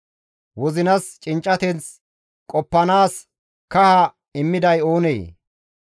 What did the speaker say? Wozinas cinccateth qoppanaas kaha immiday oonee?